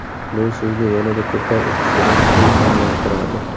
Bu sizni yanada ko‘proq o‘qishga ilhomlantiradi.